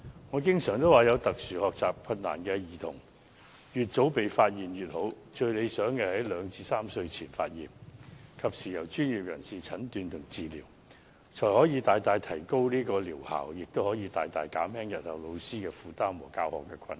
我經常說，有特殊學習困難的兒童越早被發現越好，最理想的時間是2至3歲前，然後及時由專業人士診斷和治療，這樣不但可以大大提高療效，亦可大大減輕日後老師的負擔和教學困難。